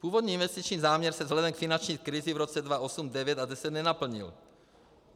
Původní investiční záměr se vzhledem k finanční krizi v roce 2008, 2009 a 2010 nenaplnil.